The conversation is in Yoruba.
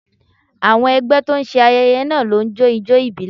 Àwọn ẹgbẹ́ tó ń ṣe ayẹyẹ náà ló ń jó ijó ìbílẹ̀